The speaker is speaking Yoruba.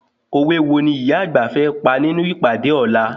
Òwe wo ni ìyá àgbà fẹ́ pa nínú ìpàdé ọ̀la?